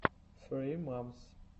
ссри момс